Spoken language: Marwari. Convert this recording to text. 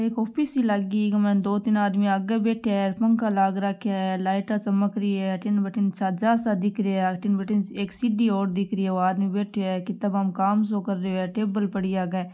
एक ऑफिस ही लागी इक मायने दो तीन आदमी आगे बैठ्या है पंखा लाग राख्या है लाइटा चमक रही है अठीन बठीन छाजा सा दिख रहिया है अठीन बठीन एक सीडी और दिख रही है ओ आदमी बैठ्यो है किताबा में काम सो कर रहियो है टेबल पड़ी है आगे।